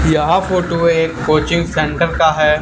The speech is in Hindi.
यह फोटो एक कोचिंग सेंटर का है।